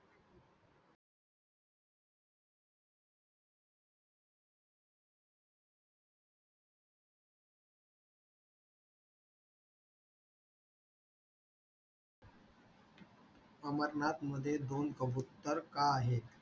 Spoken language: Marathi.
अमरनाथ मध्ये दोन कबुतर का आहेत?